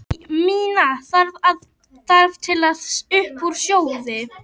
Æ minna þarf til að upp úr sjóði.